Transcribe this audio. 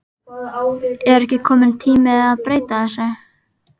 Er ekki kominn tími að breyta þessu?